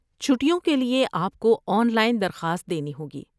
چھٹیوں کے لیے، آپ کو آن لائن درخواست دینی ہوگی۔